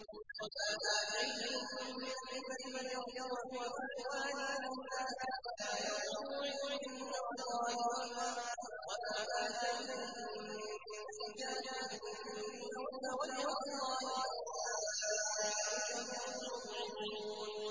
وَمَا آتَيْتُم مِّن رِّبًا لِّيَرْبُوَ فِي أَمْوَالِ النَّاسِ فَلَا يَرْبُو عِندَ اللَّهِ ۖ وَمَا آتَيْتُم مِّن زَكَاةٍ تُرِيدُونَ وَجْهَ اللَّهِ فَأُولَٰئِكَ هُمُ الْمُضْعِفُونَ